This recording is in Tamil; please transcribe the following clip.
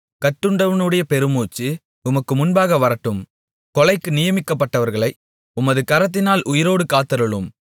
கட்டுண்டவனுடைய பெருமூச்சு உமக்கு முன்பாக வரட்டும் கொலைக்கு நியமிக்கப்பட்டவர்களை உமது கரத்தினால் உயிரோடு காத்தருளும்